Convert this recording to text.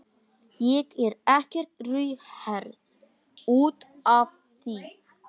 Ég er ekkert rauðhærð út af því.